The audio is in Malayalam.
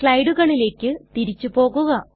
സ്ലയടുകളിലെക് തിരിച്ചു പോകുക